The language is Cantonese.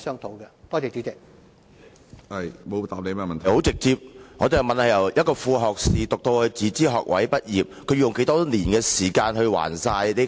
主席，我的質詢十分直接，我問局長，年輕人由副學士學位唸至自資學位畢業，要用多少年時間還清學債？